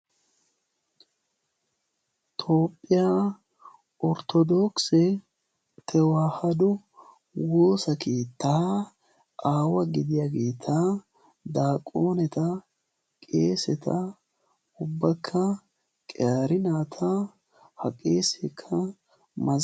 toophphiyaa orttodoksi tewaahado woosa keettaa aawa gidiyaageeta daaquaneta qeeseta ubbakka qiaari naata ha qeesekkaaaa